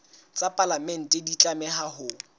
tsa palamente di tlameha ho